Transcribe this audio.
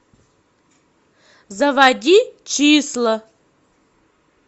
заводи числа